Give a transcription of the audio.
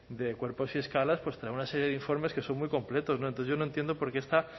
de cuerpos y escalas pues trae una serie de informes que son muy completos entonces yo no entiendo por qué esta